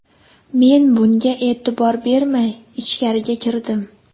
Men bunga e’tibor bermay, ichkariga kirdim.